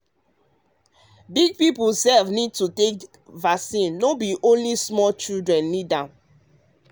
um big people sef need to sef need to take vaccine no be only um small children need am.